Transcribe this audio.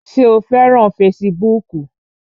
Ṣé o fẹ́ràn fesibúùkù?